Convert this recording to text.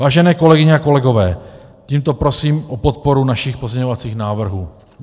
Vážené kolegyně a kolegové, tímto prosím o podporu našich pozměňovacích návrhů.